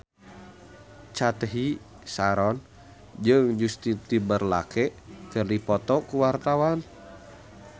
Cathy Sharon jeung Justin Timberlake keur dipoto ku wartawan